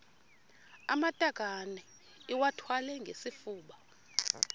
amatakane iwathwale ngesifuba